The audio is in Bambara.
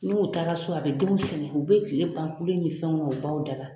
N'u taara so a bɛ denw sɛgɛ.U bɛ kile ban kule ni fɛnw na o baw da la.